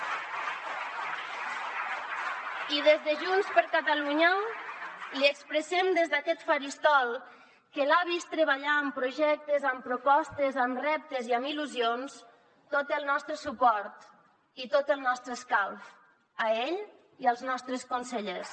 i des de junts per catalunya li expressem des d’aquest faristol que l’ha vist treballar en projectes amb propostes amb reptes i amb il·lusions tot el nostre suport i tot el nostre escalf a ell i als nostres consellers